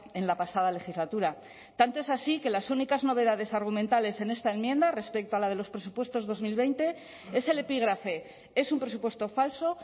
en la pasada legislatura tanto es así que las únicas novedades argumentales en esta enmienda respecto a la de los presupuestos dos mil veinte es el epígrafe es un presupuesto falso